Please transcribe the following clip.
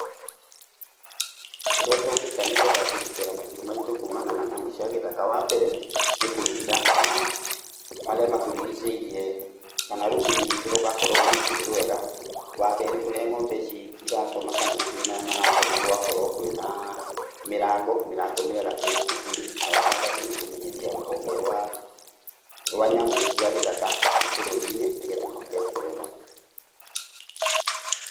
Ũrĩa tũngĩka nĩ getha kũgitĩra mahiũ maitũ kumana na nyamũ cia gĩthaka, wa mbere nĩ kũiriga kana marĩa matũrigicĩirie kana rũgiri rwitũ rũgakorwo rwĩ rwega, wa kerĩ kũrĩa ng'ombe cirakoma kana mahiũ maya marakoma gũgakorwo kwĩna mĩrango, mĩrango mĩega ĩna kuburi. Na wa gatatũ nĩ kũmenyithia rũhonge rwa nyamũ cia gĩthaka bũrũri-inĩ nĩgetha moke kũrora,